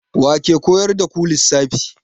Wa ke koyar da ku lissafi?